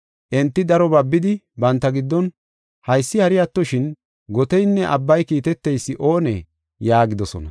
Enti daro babidi banta giddon, “Haysi hari attoshin, goteynne abbay kiiteteysi oonee?” yaagidosona.